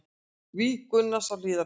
Víg Gunnars á Hlíðarenda